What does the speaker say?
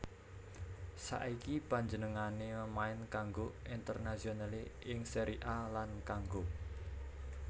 Saiki panjenengané main kanggo Internazionale ing Serie A lan kanggo